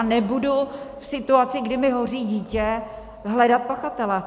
A nebudu v situaci, kdy mi hoří dítě, hledat pachatele.